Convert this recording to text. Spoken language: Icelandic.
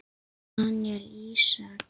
Daníel Ísak.